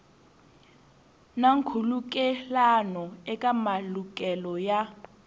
na nkhulukelano eka malukelo ya